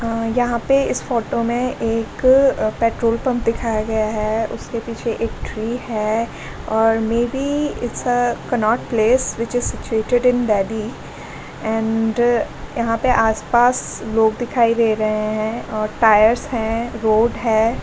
यहां पे इस फोटो में एक पेट्रोल पंप दिखाया गया है उसके पीछे एक ट्री है और may be it's a Connaught Place which is situated in Delhi and यहां पे आसपास लोग दिखाई दे रहे हैं और टायर्स हैं रोड है--